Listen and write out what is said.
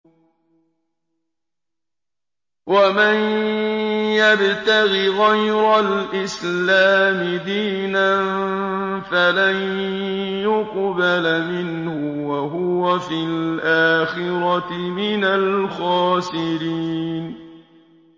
وَمَن يَبْتَغِ غَيْرَ الْإِسْلَامِ دِينًا فَلَن يُقْبَلَ مِنْهُ وَهُوَ فِي الْآخِرَةِ مِنَ الْخَاسِرِينَ